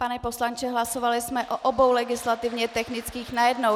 Pane poslanče, hlasovali jsme o obou legislativně technických najednou.